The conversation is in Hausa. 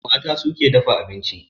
Mata su ke dafa abinci